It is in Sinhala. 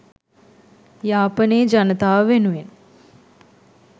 යාපනයේ ජනතාව වෙනුවෙන්